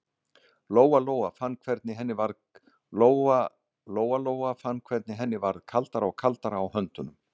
Lóa Lóa fann hvernig henni varð kaldara og kaldara á höndunum.